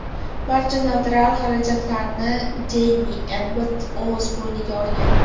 Barcha notarial xarajatlarni Jeymi Ebbot o‘z bo‘yniga olgan.